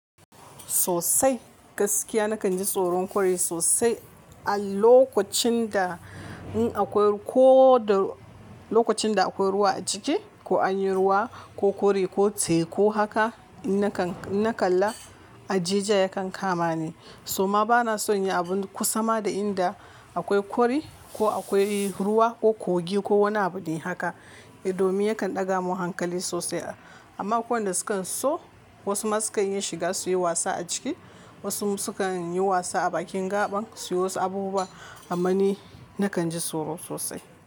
Sosaai gaskiya nakan ji tsoron kori sosai a lokacin da in akwai ko da lokacin da akwai ruwa a ciki ko an yi ruwa ko kori ko tse ko haka. Na kalla a jejiya yakan kama ni. So ma bana son yin abu kusa ma da inda akwai kori ko akwai ruwa ko kogi ko wani abu dai haka. Domin yakan ɗaga mun hankali sosai. Amma ko wanda sukan so wasu ma sukan iya shiga su yi wasa a ciki. Wasu sukan yi wasa a bakin gaɓan suyi wasu abubuwa. Amma ni nakan ji tsoro sosai.